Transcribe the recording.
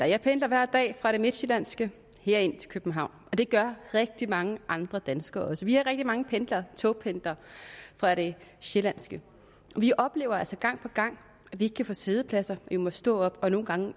jeg pendler hver dag fra det midtsjællandske og herind til københavn og det gør rigtig mange andre danskere også vi er rigtig mange pendlere togpendlere fra det sjællandske vi oplever altså gang på gang at vi ikke kan få siddepladser vi må stå op og nogle gange